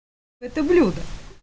это блюдо